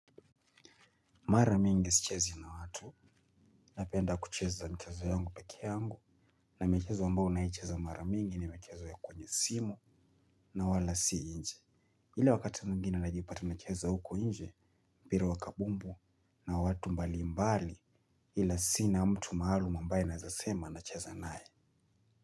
Mara mingi sichezi na watu, napenda kucheza mchezo yangu peke yangu, na michezo ambao naicheza mara mingi ni michezo ya kwenye simu na wala si nje. Ila wakati mwengine najipata nacheza huko nje, mpira wa kabumbu na watu mbalimbali ila sina mtu maalum ambaye naeza sema nacheza nae.